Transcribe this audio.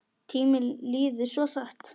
Tíminn líður svo hratt.